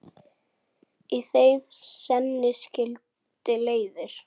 Í þeim seinni skildi leiðir.